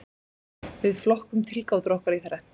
Við flokkum tilgátur okkar í þrennt.